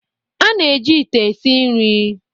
a na-eji ite esi nri